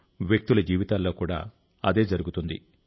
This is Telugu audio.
వ్యక్తుల జీవితాల్లో కూడా అదే జరుగుతుంది